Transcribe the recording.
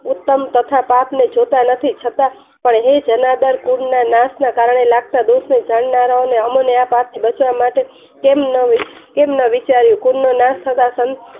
ઉત્તમ તથા પાક ને જોતા નથી છતાં હે જનાર્દન કૂન ના નાસ ના કારણે લાગે જાણનારા ઓ ને આ પાક ને માટે કેમ ન વિચાર કૂન નો નાસ થતા